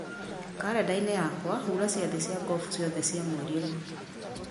karenda-inĩ yakwa hura ciathĩ cia ngobu ciothe cia mweri ũyũ